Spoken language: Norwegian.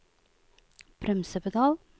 bremsepedal